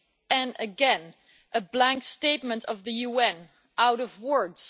And again, a blank statement from the UN out of words.